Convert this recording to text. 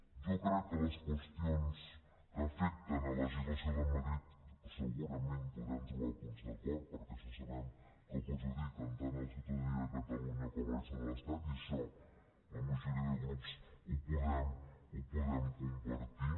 jo crec que en les qüestions que afecten la legislació de madrid segurament podrem trobar punts d’acord perquè sabem que perjudiquen tant la ciutadania de catalunya com la resta de l’estat i això la majoria de grups ho podem compartir